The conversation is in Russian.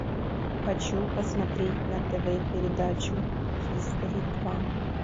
хочу посмотреть на тв передачу хистори два